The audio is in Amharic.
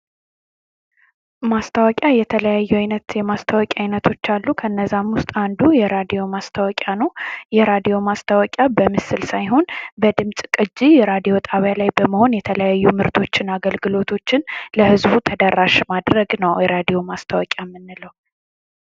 ማስታወቂያ የተለያዩ ዓይነት የማስታወቂያ ዓይነቶች አሉ። ከእነዛም ውስጥ አንዱ የሬዲዮ ማስታወቂያ ነው። የሬዲዮ ማስታወቂያ በምስል ሳይሆን በድምጽ ቅጂ ራዲዮ ጣቢያ ላይ በመሆን የተለያዩ ምርቶችን አገልግሎቶችን ለህዝቡ ተደራሽ ማድረግ ነው ራዲዮ ማስታወቂያ የምንለው።